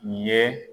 Nin ye